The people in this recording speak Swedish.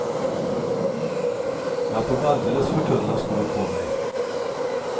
Jag tog alldeles för tunna skor på mig.